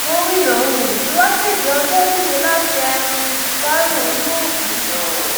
gomina um tí wàá kéde ọjọ méje láti um fi dárò olóògbé náà